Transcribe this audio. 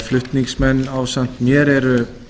flutningsmenn ásamt mér eru